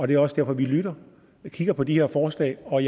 det er også derfor vi lytter og kigger på de her forslag og